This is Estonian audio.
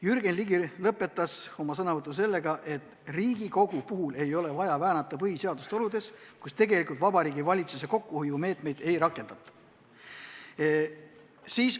Jürgen Ligi lõpetas oma sõnavõtu sellega, et Riigikogu puhul ei ole vaja väänata põhiseadust oludes, kus tegelikult Vabariigi Valitsus kokkuhoiumeetmeid ei rakenda.